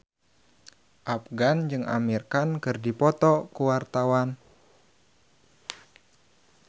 Afgan jeung Amir Khan keur dipoto ku wartawan